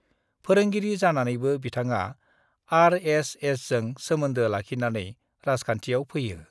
फोरोंगिरि जानानैबो बिथाङा आरएसएसजों सोमोन्दो लाखिनानै राजखान्थियाव फैयो।